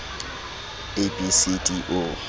a b c d o